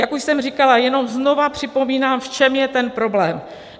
Jak už jsem říkala, jenom znovu připomínám, v čem je ten problém.